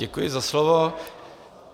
Děkuji za slovo.